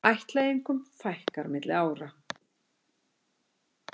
Ættleiðingum fækkar milli ára